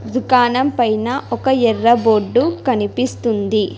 తుకాణం పైన ఒక ఎర్ర బోర్డు కనిపిస్తుంది.